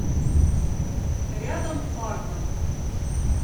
рядом флагман